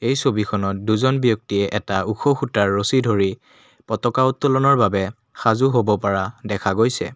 এই ছবিখনত দুজন ব্যক্তিয়ে এটা ওখ খুঁটাৰ ৰছী ধৰি পতকা উত্তোলনৰ বাবে সাজু হ'ব পৰা দেখা গৈছে।